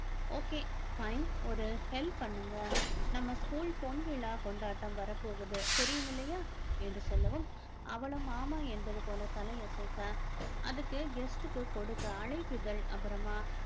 okay fine ஒரு help பண்ணுங்க நம்ம school பொன்விழா கொண்டாட்டம் வரப்போகுது தெரியும் இல்லையா என்று சொல்லவும் அவளும் ஆமா என்பது போல தலையசைக்க அதுக்கு guest க்கு கொடுக்க அழைப்பிதழ் அப்புறமா